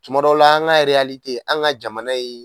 Tuma dɔw la an ka ereyalite an ka jamana ye